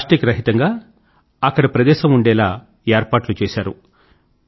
plastic రహితంగా ప్రదేశం ఉండేలా ఏర్పాట్లు చేసారు